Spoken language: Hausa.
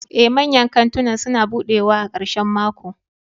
Ee, manyan kantunan suna buɗewa a ƙarshen mako.